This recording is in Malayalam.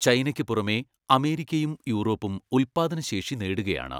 ചൈനയ്ക്ക് പുറമെ അമേരിക്കയും യൂറോപ്പും ഉൽപ്പാദന ശേഷി നേടുകയാണ്.